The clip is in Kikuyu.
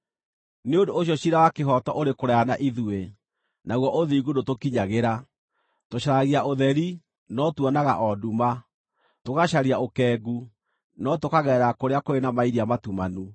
Nĩ ũndũ ũcio ciira wa kĩhooto ũrĩ kũraya na ithuĩ, naguo ũthingu ndũtũkinyagĩra. Tũcaragia ũtheri, no tuonaga o nduma; tũgacaria ũkengu, no tũkagerera kũrĩa kũrĩ na mairia matumanu.